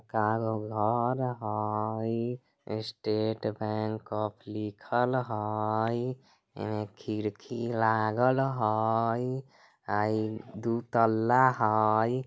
घर हईस्टेट बैंक लिखल हई एमे खिड़की लागल हई आ इ दू तल्ला हई।